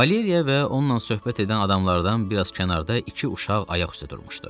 Valeriya və onunla söhbət edən adamlardan biraz kənarda iki uşaq ayaq üstə durmuşdu.